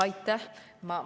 Aitäh!